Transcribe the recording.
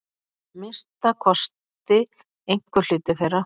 Minnsta kosti einhver hluti þeirra.